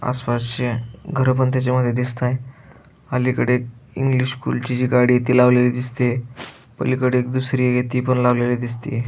आसपासचीय घर बंद झालेली दिसताएत अलीकडे इंग्लिश स्कूल ची जी गाडीय ती लावलेली दिसतीय पलीकडे एक दुसरिय ती पण लावलेली दिसतीय.